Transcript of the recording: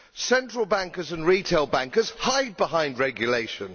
Central bankers and retail bankers hide behind regulation.